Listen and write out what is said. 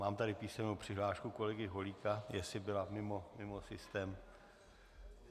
Mám tady písemnou přihlášku kolegy Holíka - jestli byla mimo systém.